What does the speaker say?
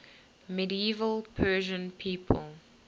medieval persian people